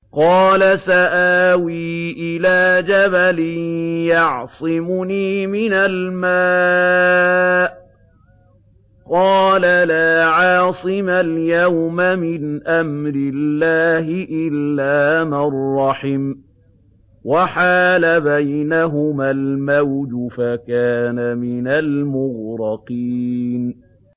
قَالَ سَآوِي إِلَىٰ جَبَلٍ يَعْصِمُنِي مِنَ الْمَاءِ ۚ قَالَ لَا عَاصِمَ الْيَوْمَ مِنْ أَمْرِ اللَّهِ إِلَّا مَن رَّحِمَ ۚ وَحَالَ بَيْنَهُمَا الْمَوْجُ فَكَانَ مِنَ الْمُغْرَقِينَ